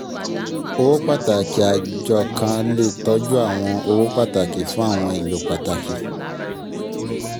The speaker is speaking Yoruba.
owó pàtàkì àjo kan lè tọ́jú àwọn owó pataki fún àwọn ìlò pàtàkì.